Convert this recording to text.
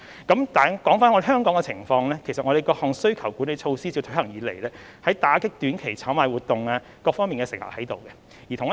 說回香港的情況，其實我們各項需求管理措施自推行以來，在打擊短期炒賣活動方面是有成效的。